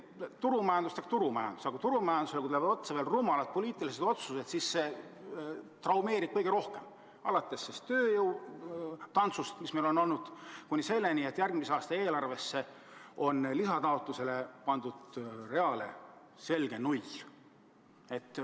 Turumajandus on turumajandus, aga kui turumajandusele tulevad otsa veel rumalad poliitilised otsused, siis see traumeerib kõige rohkem: alates tööjõutantsust, mis meil on käinud, kuni selleni, et järgmise aasta eelarves on selle lisataotluse real selge null.